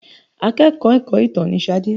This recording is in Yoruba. Akẹ́kọ̀ọ́ ẹ̀kọ́-ìtàn ni Ṣadé.